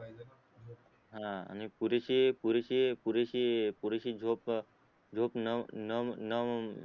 हा आणि पुरीशी पुरीशी पुरीशी पुरीशी झोप न न न